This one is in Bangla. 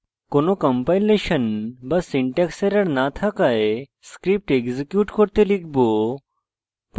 কোনো কম্পাইলেশন বা syntax error no থাকায় script execute করতে লিখব